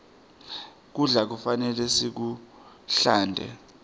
kudla kufanele sikuhlante